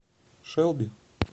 шелби